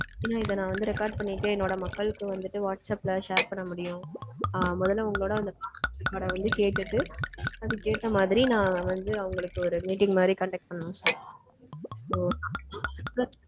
இத வந்து record பண்ணிட்டு என்னோட மக்கள்கு வந்துட்டு WhatsApp ல share பண்ண முடியும். ஆஹ் மொதல்ல உங்களோட call record அ வந்து கேட்டுட்டு அதுக்கேத்த மாதிரி நான் வந்து அவங்களுக்கு ஒரு meeting மாதிரி conduct பண்ணனும் sir.